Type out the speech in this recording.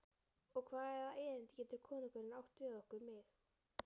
Og hvaða erindi getur konungurinn átt við okkur, mig?